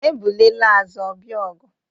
Ebule laa azụ, ọ bịa ọgụ